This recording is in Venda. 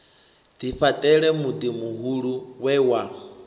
ḓifhaṱela muḓi muhulu we wa